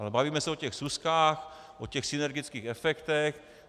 Ale bavíme se o těch súskách, o těch synergických efektech.